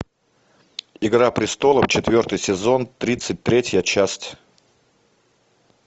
игра престолов четвертый сезон тридцать третья часть